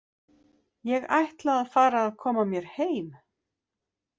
Ég ætla að fara að koma mér heim.